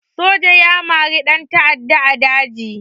Soja ya harbi ɗan ta'adda a daji